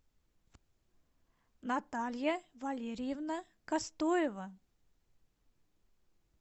наталья валериевна костоева